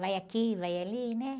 Vai aqui, vai ali, né?